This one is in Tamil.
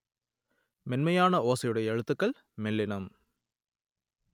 மென்மையான ஓசையுடைய எழுத்துக்கள் மெல்லினம்